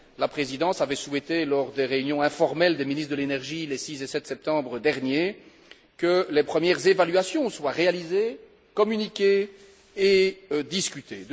La Présidence avait souhaité, lors des réunions informelles des ministres de l'énergie les 6 et 7 septembre derniers, que les premières évaluations soient réalisées, communiquées et discutées.